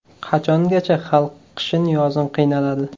Qachongacha xalq qishin-yozin qiynaladi.